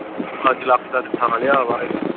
ਪੰਜ ਲੱਖ ਦਾ ਤੇ ਥਾਂ ਲਿਆ ਵਾ ਹਜੇ।